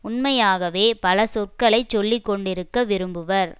உண்மையாகவே பல சொற்களை சொல்லிக்கொண்டிருக்க விரும்புவர்